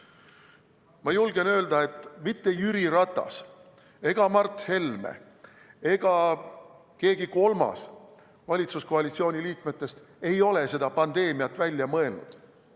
Ma julgen öelda, et ei Jüri Ratas ega Mart Helme ega keegi kolmas valitsuskoalitsiooni liikmetest ei ole seda pandeemiat välja mõelnud.